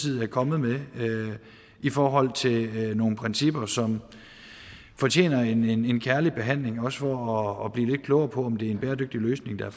er kommet med i forhold til nogle principper som fortjener en en kærlig behandling også for at blive lidt klogere på om det er en bæredygtig løsning der